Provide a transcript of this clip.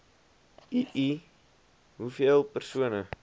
ii hoeveel persone